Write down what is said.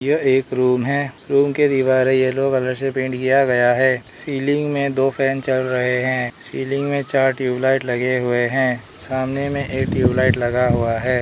यह एक रूम है रूम के दीवारें येलो कलर से पेंट किया गया है सीलिंग में दो फैन चल रहे हैं सीलिंग में चार ट्यूबलाइट लगे हुए हैं सामने में एक ट्यूबलाइट लगा हुआ है।